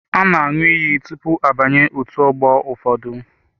A na aṅụ iyi tụpụ abanye otú ọgbọ ụfọdụ.